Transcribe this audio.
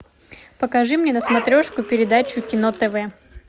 покажи мне на смотрешке передачу кино тв